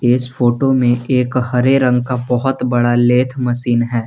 इस फोटो में एक हरे रंग का बहुत बड़ा लेथ मशीन है।